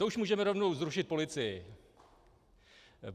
To už můžeme rovnou zrušit policii.